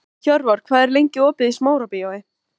Hjörvar, hvað er lengi opið í Smárabíói?